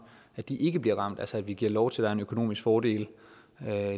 ikke bliver ramt altså at vi giver lov til er en økonomisk fordel